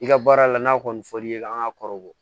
I ka baara la n'a kɔni fɔ l'i ye ka n'a kɔrɔbɔ